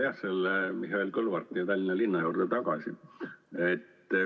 Ma tulen Mihhail Kõlvarti ja Tallinna linna juurde tagasi.